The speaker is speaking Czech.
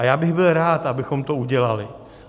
A já bych byl rád, abychom to udělali.